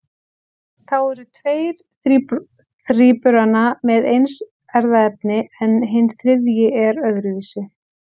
Þá eru tveir þríburana með eins erfðaefni en hinn þriðji er öðruvísi.